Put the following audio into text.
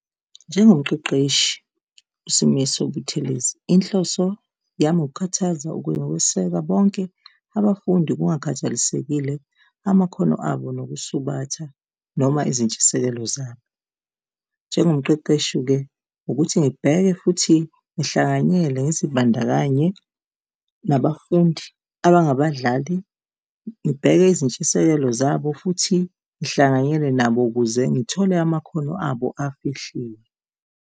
Njengomqeqeshi uSimiso Buthelezi, inhloso yami ukukhuthaza nokweseka bonke abafundi kungakhathalisekile amakhono abo nokusubatha noma izintshisekelo zabo. Njengomqeqeshi-ke, ukuthi ngibheke futhi ngihlanganyele ngizibandakanye nabafundi abangabadlali, ngibheke izintshisekelo zabo futhi ngihlanganyele nabo ukuze ngithole amakhono abo afihliwe.